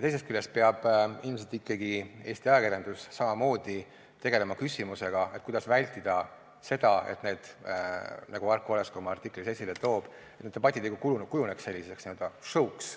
Teisest küljest peab ilmselt ikkagi Eesti ajakirjandus samamoodi tegelema küsimusega, kuidas vältida seda, et need debatid, nagu Arko Olesk oma artiklis esile toob, ei kujuneks n-ö show'ks,